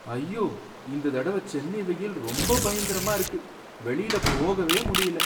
ஐயோ! இந்த தடவ சென்னை வெயில் ரொம்ப பயங்கரமா இருக்கு, வெளிய போகவே முடியல.